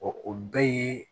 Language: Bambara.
o bɛɛ ye